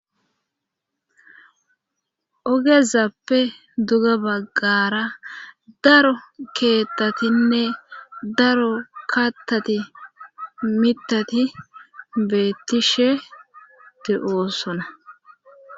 Ogezappe duga baggara daro keeththatinne daro kattati mitati beettishe de7osona.